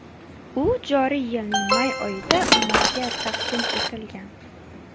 U joriy yilning may oyida ommaga taqdim etilgan.